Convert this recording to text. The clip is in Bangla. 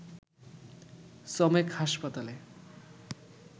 চমেক হাসপাতালে